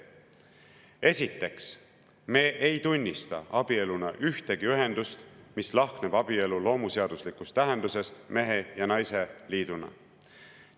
Esiteks, me ei tunnista abieluna ühtegi ühendust, mis lahkneb abielu loomuseaduslikust tähendusest mehe ja naise liiduna.